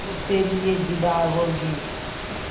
जब तेरी ये जिद्द आग होगी